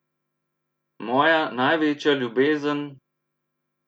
Moja največja ljubezen...